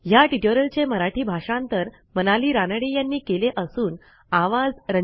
ह्या ट्युटोरियलचे मराठी भाषांतर मनाली रानडे यांनी केलेले असून आवाज